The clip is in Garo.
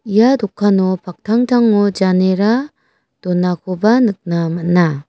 ia dokano paktangtango janera donakoba nikna man·a.